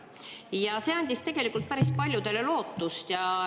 Ja see andis tegelikult päris paljudele lootust.